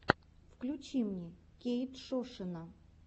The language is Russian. включи мне кейтшошина